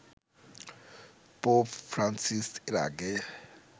pope Francis এর আগে